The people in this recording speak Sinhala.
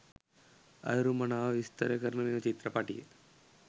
අයුරු මනාව විස්තර කරන මෙම චිත්‍රපටිය.